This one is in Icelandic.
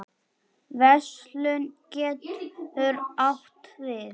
Verslun getur átt við